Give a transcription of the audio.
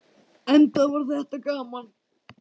Enda var þetta gaman.